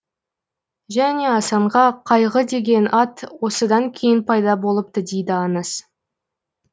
және асанға қайғы деген ат осыдан кейін пайда болыпты дейді аңыз